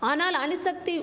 ஆனால் அணுசக்திவ்